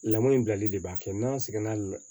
Lamɔn in bilali de b'a kɛ n'an sɛgɛnna